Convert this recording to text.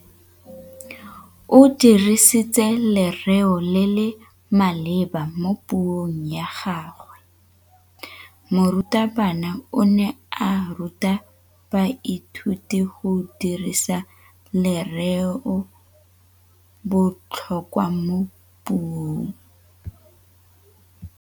O dirisitse lerêo le le maleba mo puông ya gagwe. Morutabana o ne a ruta baithuti go dirisa lêrêôbotlhôkwa mo puong.